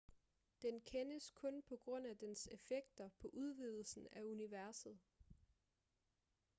den kendes kun på grund af dens effekter på udvidelsen af universet